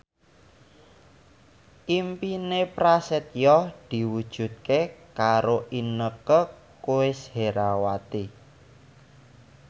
impine Prasetyo diwujudke karo Inneke Koesherawati